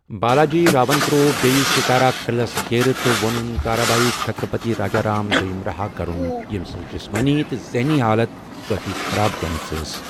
بالاجی راون ترٛوو بیٚیہِ ستارہ قٕعلس گیرٕ، تہٕ ووٚنن تارابھایی چھترپتی راجارام دویم رہا كرن، ییٚمۍ سٕنٛز جِسمٲنی تہٕ ذہنی حالتھ کٲفی خراب گٔمٕژ ٲس ۔